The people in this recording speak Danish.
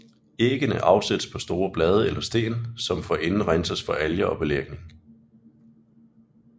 Æggende afsættes på store blade eller sten som forinden renses for alger og belægning